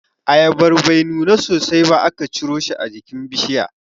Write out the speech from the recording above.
Ayabar bai nuna sosai ba aka ciro shi a jikin bishiya.